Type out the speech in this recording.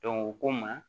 u ko n ma